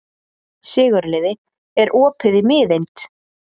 Sigurliði, er opið í Miðeind?